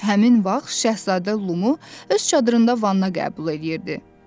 Həmin vaxt Şahzadə Lumu öz çadırında vanna qəbul eləyirdi.